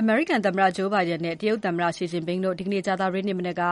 အမေရိကန်သမ္မတ Joe Biden နဲ့ တရုတ်သမ္မတ Xi Jinping တို့ ဒီနေ့ကြာသပတေးမနက်က